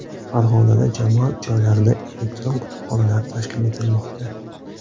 Farg‘onada jamoat joylarida elektron kutubxonalar tashkil etilmoqda.